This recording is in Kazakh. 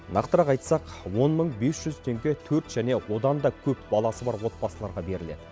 нақтырақ айтсақ он мың бес жүз теңге төрт және одан да көп баласы бар отбасыларға беріледі